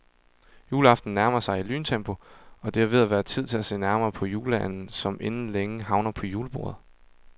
Juleaften nærmer sig i lyntempo, og det er ved at være tid til at se nærmere på juleanden, som inden længe havner på julebordet.